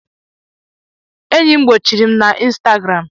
Enyi m gbochiri m na Instagram.